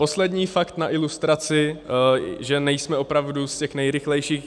Poslední fakt na ilustraci, že nejsme opravdu z těch nejrychlejších.